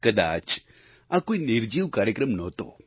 કદાચ આ કોઈ નિર્જીવ કાર્યક્રમ નહોતો